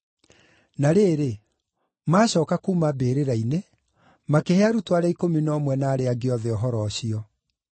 Na rĩrĩ, maacooka kuuma mbĩrĩra-inĩ, makĩhe arutwo arĩa ikũmi na ũmwe na arĩa angĩ othe ũhoro ũcio.